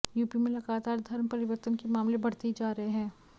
UP में लगातार धर्म परिवर्तन के मामले बढ़ते ही जा रहे है